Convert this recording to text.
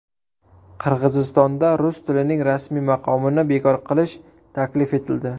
Qirg‘izistonda rus tilining rasmiy maqomini bekor qilish taklif etildi.